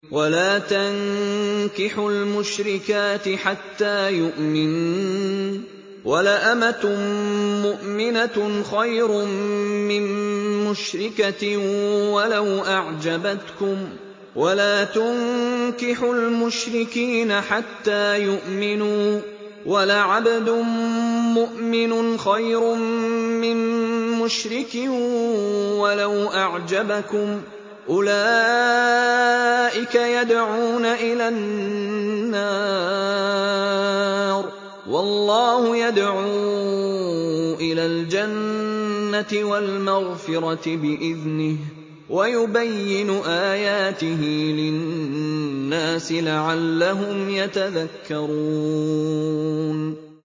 وَلَا تَنكِحُوا الْمُشْرِكَاتِ حَتَّىٰ يُؤْمِنَّ ۚ وَلَأَمَةٌ مُّؤْمِنَةٌ خَيْرٌ مِّن مُّشْرِكَةٍ وَلَوْ أَعْجَبَتْكُمْ ۗ وَلَا تُنكِحُوا الْمُشْرِكِينَ حَتَّىٰ يُؤْمِنُوا ۚ وَلَعَبْدٌ مُّؤْمِنٌ خَيْرٌ مِّن مُّشْرِكٍ وَلَوْ أَعْجَبَكُمْ ۗ أُولَٰئِكَ يَدْعُونَ إِلَى النَّارِ ۖ وَاللَّهُ يَدْعُو إِلَى الْجَنَّةِ وَالْمَغْفِرَةِ بِإِذْنِهِ ۖ وَيُبَيِّنُ آيَاتِهِ لِلنَّاسِ لَعَلَّهُمْ يَتَذَكَّرُونَ